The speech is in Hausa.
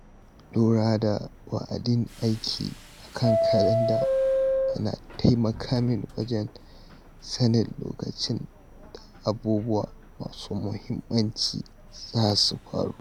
Lura da wa’adin aiki a kan kalanda yana taimaka min wajen sanin lokacin da abubuwa masu mahimmanci za su faru.